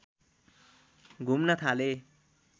घुम्न थाले